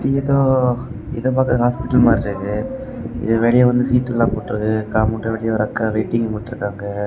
இ ஏதோ இத பாக்க ஹாஸ்பிடல் மாறி தெரிது இது வெளிய வந்து சீட் எல்லாம் போட்ருக்கு காம்பவுண்ட் வெளிய ரெட் கலர்ல வெயிட்டிங்ன்னு போட்டு இருக்கு.